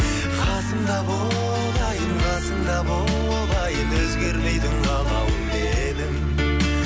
қасымда бол айым қасымда бол айым өзгермейтін қалауым менің